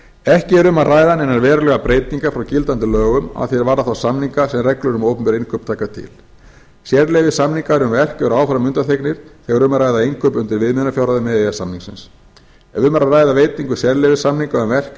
ekki er um að ræða neinar verulegar breytingar frá gildandi lögum að því er varðar þá samninga sem reglur um opinber innkaup taka til sérleyfissamninga um verk eru áfram undanþegnir þegar um er að ræða innkaup undir viðmiðunarfjárhæðum e e s samningsins ef um er að ræða veitingu sérleyfissamninga um verk yfir